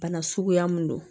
Bana suguya mun don